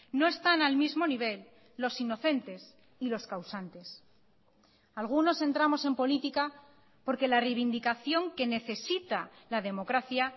no están al mismo nivel los inocentes y los causantes algunos entramos en política porque la reivindicación que necesita la democracia